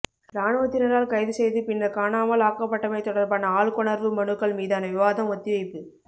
இராணுவத்தினரால் கைது செய்து பின்னர் காணாமல் ஆக்கப்பட்டமை தொடர்பான ஆள்கொணர்வு மனுக்கள் மீதான விவாதம் ஒத்திவைப்பு